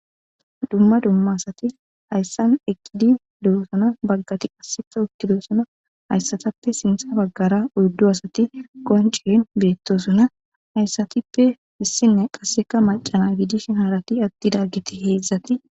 dumma dumma asati hayssan eqqidi lulosuna baggati asseka uttilosuna hayssatappe sintha baggara udddo asati qoncihen beettosuna hayssatippe issinne qasseka macana wiidishenharati attidageti heedzdzati